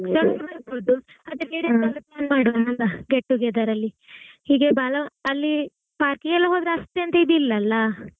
ಅಲ್ಲಾ get together ಅಲ್ಲಿ ಹೀಗೆ ಬಾಲಾ ಅಲ್ಲಿpark ಗೆಲ್ಲಾ ಹೋದ್ರೆ ಅಷ್ಟ್ ಎಂಥ ಇದ್ ಇಲ್ಲಾ ಅಲ್ಲಾ.